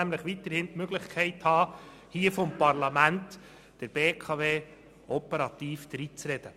Er will weiterhin die Möglichkeit haben, der BKW via Parlament operativ dreinzureden.